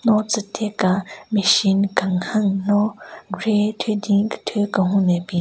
Ro tsü tika machine kenhen no grey thyu din kethyu kenhun ne bin.